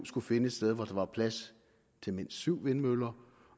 skulle finde et sted hvor der var plads til mindst syv vindmøller